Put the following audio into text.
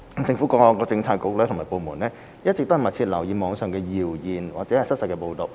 政府各政策局及部門一直密切留意網上謠言或失實報道。